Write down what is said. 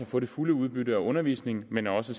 få det fulde udbytte af undervisningen men også